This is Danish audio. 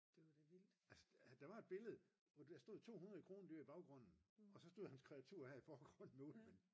altså der var et billede hvor der stod 200 krondyr i baggrunden og så stod hans kreatur her i forgrunden